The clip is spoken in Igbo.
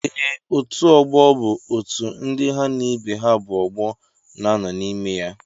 Ee, otú ọgbọ bụ otú ndị ha na ibe ha bú ọgbọ nanọ n'ime ya.